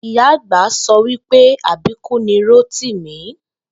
Ìyá àgb̀a so̩ wí pé àbíkú ni Rótìmí